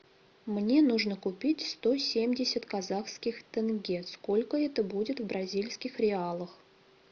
мне нужно купить сто семьдесят казахских тенге сколько это будет в бразильских реалах